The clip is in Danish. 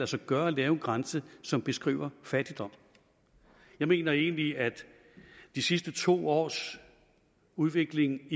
sig gøre at lave en grænse som beskriver fattigdom jeg mener egentlig at de sidste to års udvikling